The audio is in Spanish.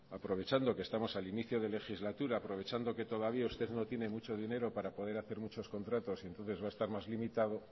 aprovechando que estamos al inicio de legislatura aprovechando que todavía usted no tienen mucho dinero para poder hacer muchos contratos y entonces va a estar más limitado